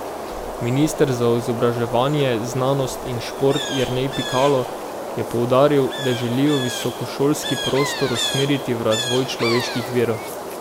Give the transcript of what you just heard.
Minister za izobraževanje, znanost in šport Jernej Pikalo je poudaril, da želijo visokošolski prostor usmeriti v razvoj človeških virov.